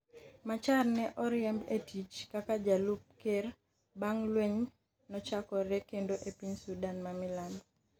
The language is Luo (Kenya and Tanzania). Machar ne oriemb e tich kaka jalup ker bang' lweny nochakore kendo e piny Sudan ma Milambo.